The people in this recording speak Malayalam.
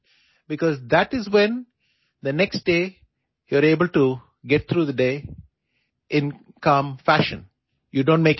കാരണം അതിലൂടെ അടുത്ത ദിവസം പകൽ ശാന്തമായ രീതിയിൽ കടന്നുപോകാൻ നിങ്ങൾക്കു കഴിയും